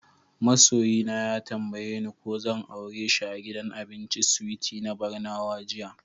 Ma soyi na ya tambaye ni ko zan aure shi a gidan abincin Sweeties na Barnawa jiya.